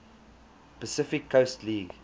pacific coast league